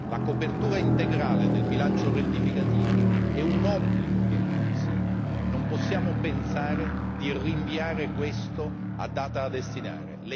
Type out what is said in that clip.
La copertura integrale del bilancio rettificativo è un obbligo che ha il Consiglio, non possiamo pensare di rinviare questo a data da destinare.